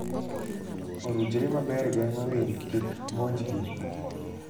Orujre maber geng'o winy kik monjgi.